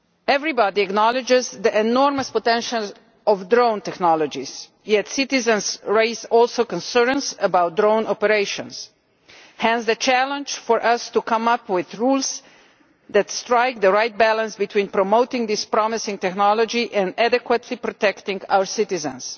Everybody acknowledges the enormous potential of drone technologies, yet citizens are also raising concerns about drone operations hence the challenge for us to come up with rules that strike the right balance between promoting this promising technology and adequately protecting our citizens.